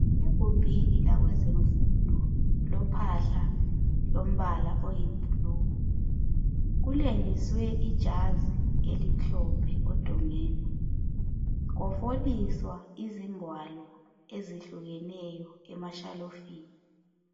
Egumbili lakwezemfundo kulophahla lombala oyibhulu kulengiswe ijazi elimhlophe odongeni kwafoliswa izingwalo ezihlukeneyo emashelufini.